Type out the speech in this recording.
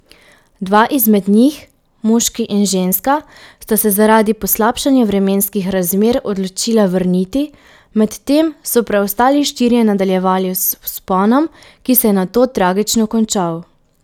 Dva izmed njih, moški in ženska, sta se zaradi poslabšanja vremenskih razmer odločila vrniti, medtem so preostali štirje nadaljevali z vzponom, ki se je nato tragično končal.